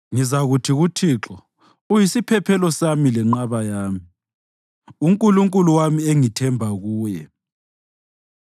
Ngizakuthi kuThixo, “Uyisiphephelo sami lenqaba yami, uNkulunkulu wami, engithemba kuye.”